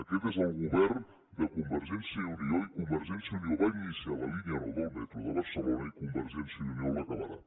aquest és el govern de convergència i unió i convergència i unió va iniciar la línia nou del metro de barcelona i convergència i unió l’acabarà